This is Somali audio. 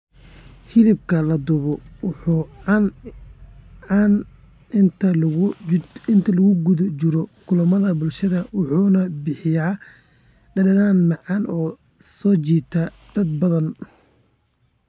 Hilibka la dubay waa caan inta lagu guda jiro kulamada bulshada wuxuuna bixiyaa dhadhan macaan oo soo jiidata dad badan.